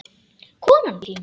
Konan þín?